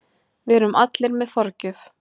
Við erum allir með forgjöf.